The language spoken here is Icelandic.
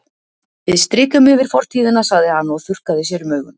Við strikum yfir fortíðina, sagði hann og þurrkaði sér um augun.